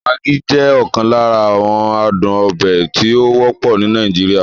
Maggi jẹ́ okan lara awon aduon obe tí ó wọ́pọ̀ ní Nàìjíríà.